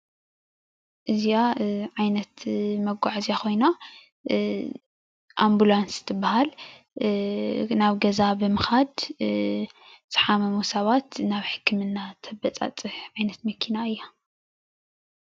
እዚኣ ዓይነት መጓዓዝያ ኮይና ኦምቡላንስ ትባሃል ናብ ገዛ ብምካድ ዝሓመሙ ሰባት ናብ ሕክምና ተበፃፅሕ ዓይነት መኪና እያ፡፡